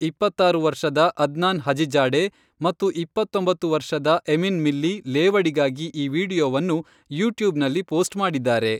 ಇಪ್ಪತ್ತಾರು ವರ್ಷದ Adnan Hajizade ಮತ್ತು ಇಪ್ಪತ್ತೊಂಬತ್ತು ವರ್ಷದ ಎಮಿನ್ ಮಿಲ್ಲಿ ಲೇವಡಿಗಾಗಿ ಈ ವಿಡಿಯೋವನ್ನು ಯೂಟ್ಯೂಬ್ನಲ್ಲಿ ಪೋಸ್ಟ್ ಮಾಡಿದ್ದಾರೆ.